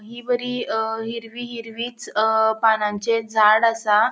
हि बरी अ हिरवी हिरवीच अ पानांचे झाड आसा.